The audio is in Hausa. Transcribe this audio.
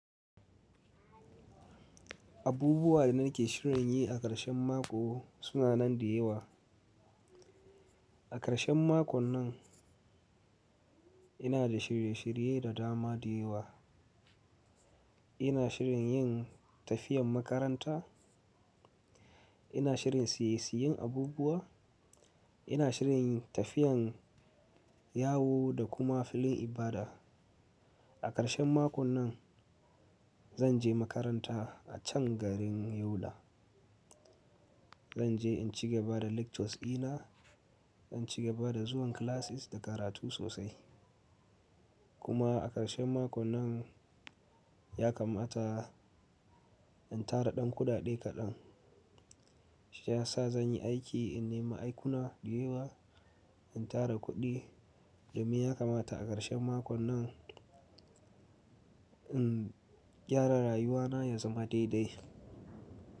Abubuwa da nake shirin yi a ƙarshen mako suna nan da yawa. A ƙarshen makon nan ina da shirye shirye da dama da yawa. Ina shirin yin tafiyan makaranta, ina shirin siye siyen abubuwa, ina shirin tafiyan yawo da kuma filin ibada. A ƙarshen makon nan zan je makaranta a can garin Yola. Zan je in cigaba da lectures dina, in cigaba da zuwan classes da karatu sosai. Kuma a ƙarshen makon nan ya kamata in tara ɗan kuɗaɗe kaɗan. Shi ya sa zan yi aiki in nemi aikuna da yawa, in tara kuɗi, domin ya kamata a ƙarshen makon nan in gyara rayuwana ya zama daidai.